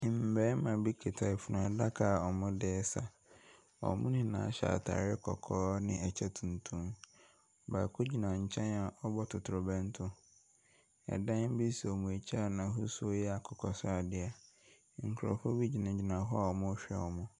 Mmarima bi kuta funuadaka a wɔdesa. Wɔn nyinaa hyɛ ataade kɔkɔɔ ɛne ɛkyɛ tuntum. Baako gyina ɛnkyɛn a ɔrebɔ totorobɛnto. Ɛdan bi si wɔn ɛkyi a n'hosuo yɛ akokɔ sradeɛ. Nkorɔfoɔ bi gyinagyina hɔ a ɔrehwɛ wɔn.